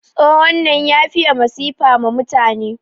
Tsohon nan ya fiye masifa ma mutane.